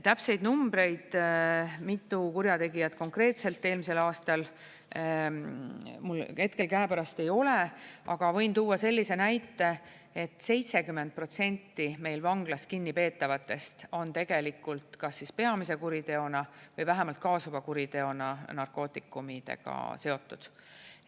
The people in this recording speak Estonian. Täpseid numbreid, mitu kurjategijat konkreetselt eelmisel aastal, mul hetkel käepärast ei ole, aga võin tuua sellise näite, et 70% meil vanglas kinnipeetavatest on tegelikult kas peamise kuriteona või vähemalt kaasuva kuriteona narkootikumidega seotud.